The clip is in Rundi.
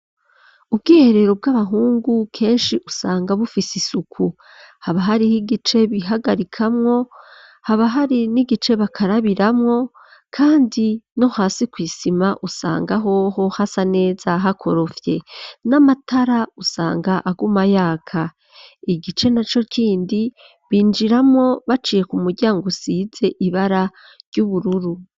Ubwiherero, bw'abahungu, kenshi usanga, bufise isuku; haba hariho, igice bihagarikamwo, haba hari, n'igice bakarabiramwo, kandi no hasi, kw’isima, usanga hoho, hasa neza, hakorofye; n'amatara, usanga aguma yaka; igice naco kindi, binjiramwo baciye, ku muryango usize ibara, ry'ubururu.